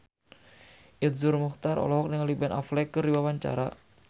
Iszur Muchtar olohok ningali Ben Affleck keur diwawancara